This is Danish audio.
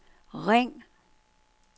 ring